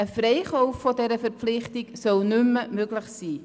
Ein Freikaufen von dieser Verpflichtung soll nicht mehr möglich sein.